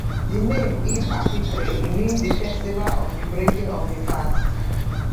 di name eid alfitr e mean di festival of di breaking of di fast